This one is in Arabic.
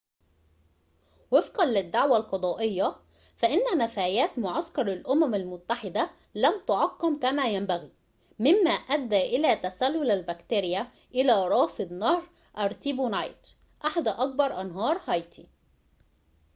وفقًا للدعوى القضائية فإنّ نفايات معسكر الأمم المتّحدة لم تُعقَّم كما ينبغي ممّا أدّى إلى تسلل البكتيريا إلى رافد نهر أرتيبونايت أحد أكبر أنهار هايتي